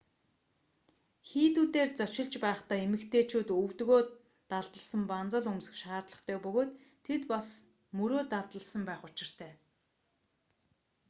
хийдүүдээр зочилж байхдаа эмэгтэйчүүд өвдөгөө далдалсан банзал өмсөх шаардлагатай бөгөөд тэд бас мөрөө далдалсан байх учиртай